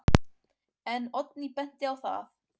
En Oddný benti á að: